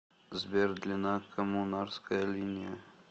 сбер длина коммунарская линия